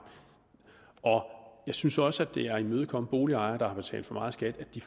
og jeg synes også at det er at imødekomme boligejere der har betalt for meget skat at de